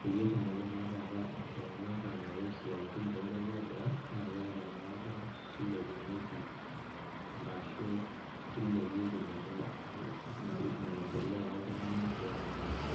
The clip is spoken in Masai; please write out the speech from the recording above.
peyie etumoki naa taata iltung'anak anoto isiatin tonkuapi eboo naa keeku inakata kilepunyieki arashu kilepieki ninye mai maendeleo oltung'anak ianaake.